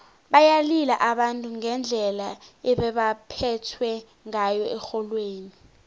bayalila abantu ngendlela ebebaphethwe ngayo erholweni